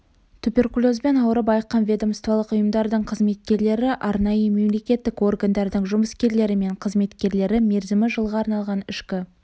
туберкулезбен ауырып айыққан ведомстволық ұйымдардың қызметкерлері арнайы мемлекеттік органдардың жұмыскерлері мен қызметкерлері мерзімі жылға арналған ішкі